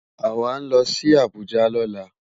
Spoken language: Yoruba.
Awá nlò si Abuja lòlá